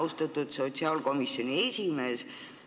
Austatud sotsiaalkomisjoni esimees!